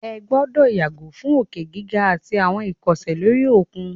Ẹ gbọ́dọ̀ yàgò fún òkè gíga àtí àwọn ìkọsẹ̀ lóri òkun!